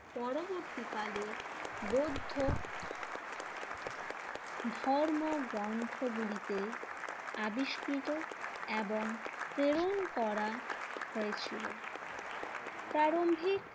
পরবর্তীকালে বৌদ্ধ ধর্ম গ্রন্থগুলিতে আবিষ্কৃত এবং প্রেরণ করা হয়েছিল। প্রারম্ভিক